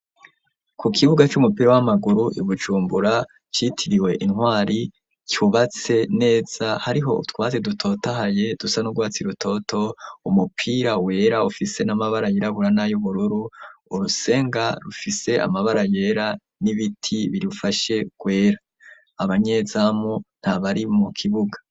Ku kibuga c'umupira w'amaguru ibujumbura citiriwe intwari cubatse neza hariho utwatsi dutotahaye dusa n'ugwatsi rutoto, umupira wera ufise n'amabara yirabura n'ayirabura urusenga rufise amabara yera n'ibiti birufashe gwera, abanyezamu ntabari mu kibuga.